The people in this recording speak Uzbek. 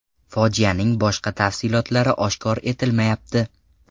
Fojianing boshqa tafsilotlari oshkor etilmayapti.